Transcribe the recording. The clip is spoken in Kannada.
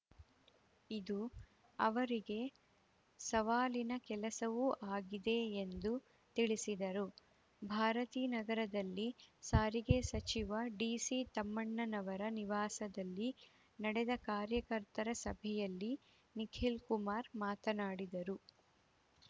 ಇದು ಅವರಿಗೆ ಸವಾಲಿನ ಕೆಲಸವೂ ಆಗಿದೆ ಎಂದು ತಿಳಿಸಿದರು ಭಾರತೀನಗರದಲ್ಲಿ ಸಾರಿಗೆ ಸಚಿವ ಡಿಸಿತಮ್ಮಣ್ಣನವರ ನಿವಾಸದಲ್ಲಿ ನಡೆದ ಕಾರ್ಯಕರ್ತರ ಸಭೆಯಲ್ಲಿ ನಿಖಿಲ್‌ ಕುಮಾರ್‌ ಮಾತನಾಡಿದರು